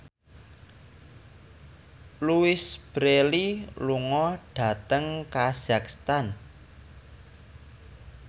Louise Brealey lunga dhateng kazakhstan